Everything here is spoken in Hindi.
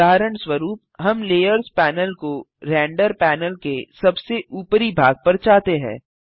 उदाहरणस्वरूप हम लेयर्स पैनल को रेंडर पैनल के सबसे ऊपरी भाग पर चाहते हैं